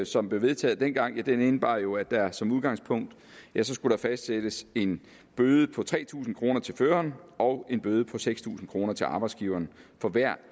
som blev vedtaget dengang ja den indebar jo at der som udgangspunkt skulle fastsættes en bøde på tre tusind kroner til føreren og en bøde på seks tusind kroner til arbejdsgiveren for hver